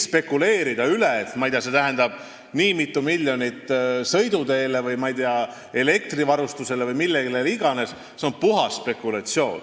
Rääkida, ma ei tea, et see tähendab nii mitu miljonit sõiduteele või elektrivarustusele või millele iganes – see oleks puhas spekulatsioon.